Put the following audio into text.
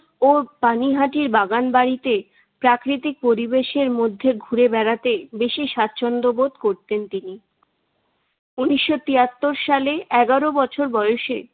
ও পানিহাটির বাগানবাড়িতে প্রাকৃতিক পরিবেশের মধ্যে ঘুরে বেড়াতে বেশি সাচ্ছন্দ্যবোধ করতেন তিনি। উনিশশো তিয়াত্তর সালে এগারো বছর বয়সে